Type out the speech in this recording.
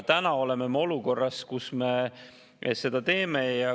Täna oleme me olukorras, kus me seda teeme.